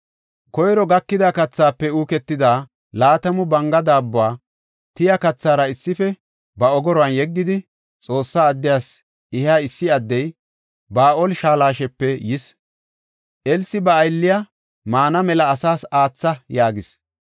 Koyro gakida kathaafe uuketida laatamu banga daabbuwa, tiya kathara issife ba ogoruwan yeggidi, Xoossa addiyas ehiya issi addey Ba7aal-Shalishapee yis. Elsi ba aylliya, “Maana mela asaas aatha” yaagis.